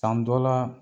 San dɔ la